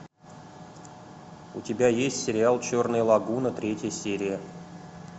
у тебя есть сериал черная лагуна третья серия